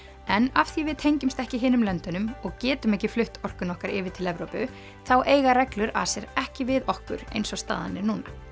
en af því við tengjumst ekki hinum löndunum og getum ekki flutt orkuna okkar yfir til Evrópu þá eiga reglur ACER ekki við okkur eins og staðan er